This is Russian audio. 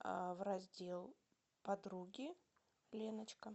в раздел подруги леночка